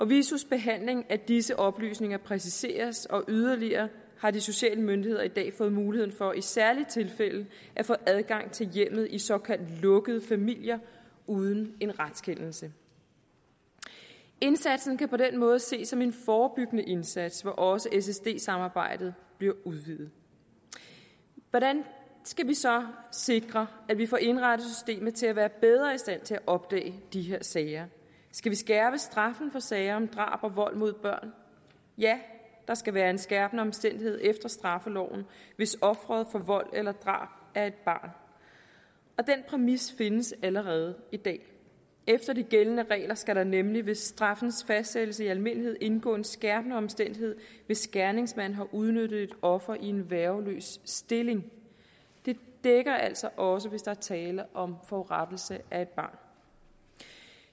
visos behandling af disse oplysninger præciseres og yderligere har de sociale myndigheder i dag fået mulighed for i særlige tilfælde at få adgang til hjemmet i såkaldt lukkede familier uden en retskendelse indsatsen kan på den måde ses som en forebyggende indsats hvor også ssp samarbejdet bliver udvidet hvordan skal vi så sikre at vi får indrettet systemet til at være bedre i stand til at opdage de her sager skal vi skærpe straffen for sager om drab og vold mod børn ja der skal være en skærpende omstændighed efter straffeloven hvis offeret for vold eller drab er et barn og den præmis findes allerede i dag efter de gældende regler skal det nemlig ved straffens fastsættelse i almindelighed indgå som en skærpende omstændighed hvis gerningsmanden har udnyttet et offer i en værgeløs stilling det dækker altså også hvis der er tale om forurettelse af et barn